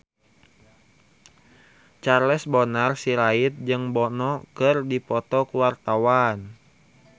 Charles Bonar Sirait jeung Bono keur dipoto ku wartawan